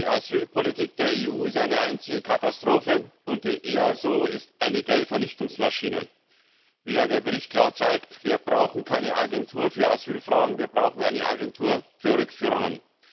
Die Asylpolitik der EU ist eine einzige Katastrophe, und das EASO ist eine Geldvernichtungsmaschine. Wie ja der Bericht klar zeigt, brauchen wir keine Agentur für Asylfragen, sondern eine Agentur für Rückführungen.